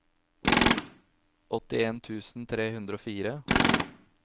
åttien tusen tre hundre og fire